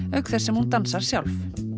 auk þess sem hún dansar sjálf